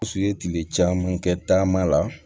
U ye tile caman kɛ taama la